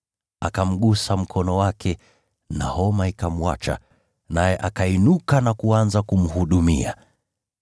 Akamgusa mkono wake na homa ikamwacha, naye akainuka na kuanza kumhudumia.